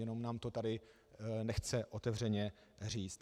Jenom nám to tady nechce otevřeně říct.